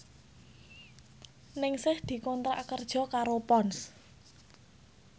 Ningsih dikontrak kerja karo Ponds